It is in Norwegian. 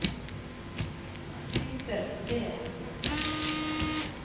Sidsel Sveen